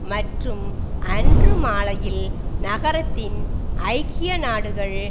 மற்றும் அன்று மாலையில் நகரத்தின் ஐக்கிய நாடுகள்